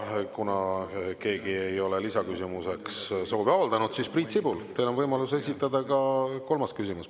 Ja kuna keegi ei ole lisaküsimuseks soovi avaldanud, siis Priit Sibul, teil on võimalus esitada ka kolmas küsimus.